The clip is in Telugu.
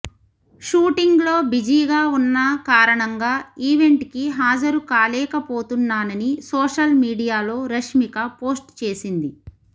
షూటింగ్లో బిజీగా ఉన్న కారణంగా ఈవెంట్కి హాజరు కాలేకపోతున్నానని సోషల్ మీడియాలో రష్మిక పోస్ట్ చేసింది